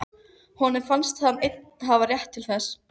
Honum fannst hann einn hafa rétt til þess.